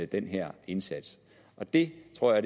den her indsats det tror jeg